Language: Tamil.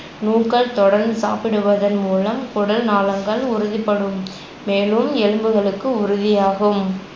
நூக்கள் தொடர்ந்து சாப்பிடுவதன்மூலம் குடல்நாளங்கள் உறுதிபடும் மேலும் எலும்புகளுக்கு உறுதியாகும்